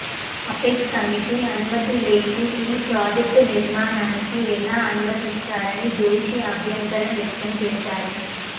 apex committee అనుమతి లేని ఈ ప్రాజెక్టు నిర్మాణానికి ఎలా అనుమతి ఇస్తారని జోషి అభ్యంతరం వ్యక్తం చేశారు